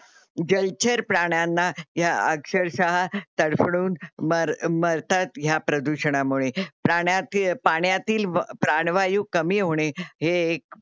जलचर प्राण्यांना ह्या अक्षरशः तडफडून मर मरतात ह्या प्रदूषणामुळे. प्राण्याती पाण्यातील प्राणवायू कमी होणे हे एक